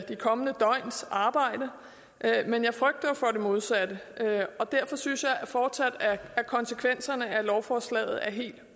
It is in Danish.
kommende døgns arbejde men jeg frygter jo for det modsatte og derfor synes jeg fortsat at konsekvenserne af lovforslaget er helt